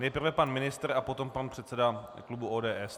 Nejprve pan ministr a potom pan předseda klubu ODS.